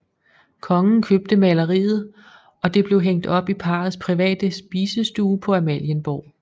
Kongen købte maleriet og det blev hængt op i parrets private spisestue på Amalienborg